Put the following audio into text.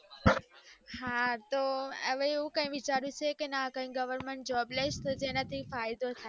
હા તો હવે આવું કઈ વિચાર્યું છે કે ના કઈ government job લઈશ તો જેનાથી ફાયદો થાય